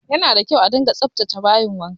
Yana da kyau a dunga tsaftace bayin wanka